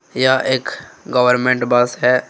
यह एक government bus है।